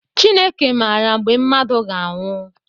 Chineke maara mgbe mmadụ ga anwụ.